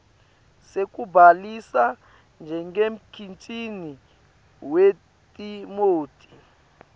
sekubhalisa njengemkhiciti wetimoti